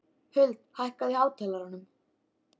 Huld, hækkaðu í hátalaranum.